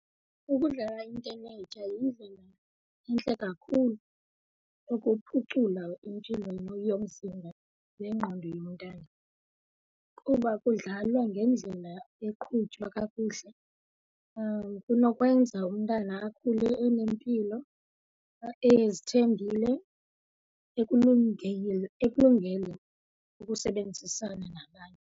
Ukudlala intenetya yindlela entle kakhulu yokuphucula impilo yomzimba nengqondo yomntana. Kuba kudlalwa ngendlela eqhutywa kakuhle kunokwenza umntana akhule enempilo, ezithembile, ekulungele ukusebenzisana nabanye.